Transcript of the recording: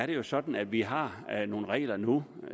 det er sådan at vi har nogle regler nu